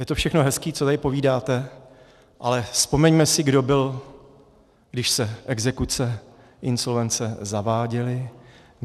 Je to všechno hezký, co tady povídáte, ale vzpomeňme si, kdo byl, když se exekuce, insolvence zaváděly.